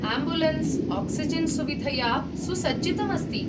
Ambulance oxygen सुविधया सुसज्जितम् अस्ति।